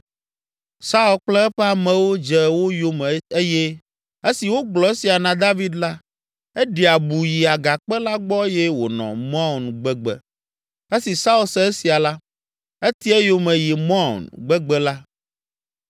Saul kple eƒe amewo dze wo yome eye esi wogblɔ esia na David la, eɖi abu yi agakpe la gbɔ eye wònɔ Maon gbegbe. Esi Saul se esia la, eti eyome yi Maon gbegbe la.